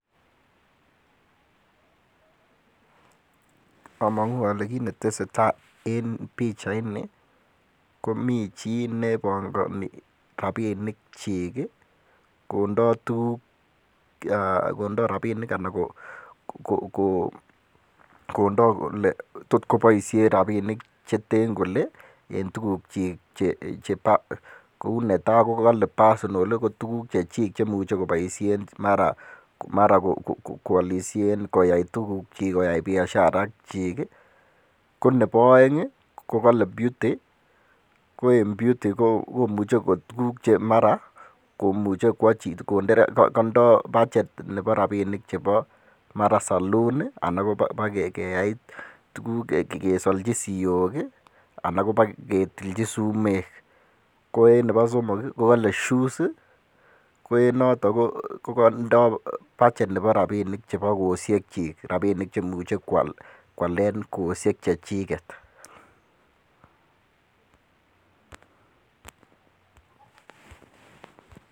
Amang'u ale kii ne tesetai en pichait ni, komi chi ne pangani rabinik chiik, kondoi tuguk, kondoi rabinik anan um kondoi kole tot koboisien rabinik che ten kole, en tuguk chiik chebo. Koun netai kale personal, ko tuguk chechik che imuchen koboisien mara koalisien, koyai tuguk chik, koyai biashar a chiik. Ko nebo aeng,' kokale beauty. Ko iin beauty ko imuche koek tuguk che mara, koimuche konde chii, mara kotindoi budget nebo rabinik chebo mara salon, anan koba keyai tuguk keslach siyok, anan kobo ketilchi sumek. Ko en nebo somok, kokale shoes. Ko enotok um ko kotondoi budget nebo rabinik chebo koosiek chiik, rabinik che imuche koalden koosiek chechiket